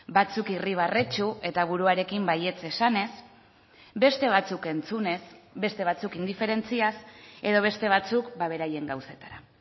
batzuk irribarretsu eta buruarekin baietz esanez beste batzuk entzunez beste batzuk indiferentziaz edo beste batzuk beraien gauzetara